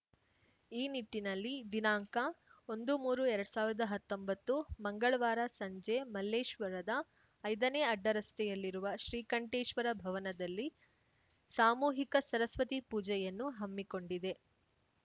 ಈ ನಿಟ್ಟಿನಲ್ಲಿ ದಿನಾಂಕ ಒಂದುಮೂರುಎರಡ್ ಸಾವಿರ್ದಾ ಹತ್ತೊಂಬತ್ತು ಮಂಗಳವಾರ ಸಂಜೆ ಮಲ್ಲೇಶ್ವರದ ಐದ ನೇ ಅಡ್ಡರಸ್ತೆಯಲ್ಲಿರುವ ಶ್ರೀಕಂಠೇಶ್ವರ ಭವನ ದಲ್ಲಿ ಸಾಮೂಹಿಕ ಸರಸ್ವತಿ ಪೂಜೆಯನ್ನು ಹಮ್ಮಿಕೊಂ‌ಡಿದೆ